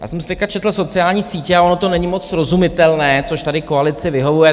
Já jsem si teď četl sociální sítě a ono to není moc srozumitelné, což tady koalici vyhovuje.